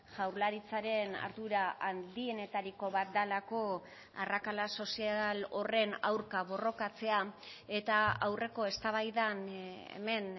jaurlaritzaren ardura handienetariko bat delako arrakala sozial horren aurka borrokatzea eta aurreko eztabaidan hemen